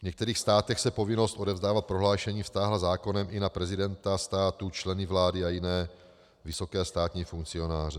V některých státech se povinnost odevzdávat prohlášení vztáhla zákonem i na prezidenta státu, členy vlády a jiné vysoké státní funkcionáře.